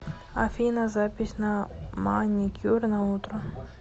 афина запись на маникюр на утро